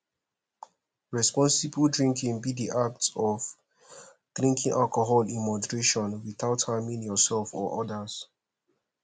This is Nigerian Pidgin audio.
responsible drinking be di act of drinking alcohol in moderation without harming yourself or odas